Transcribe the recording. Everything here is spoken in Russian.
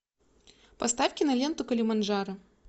поставь киноленту килиманджаро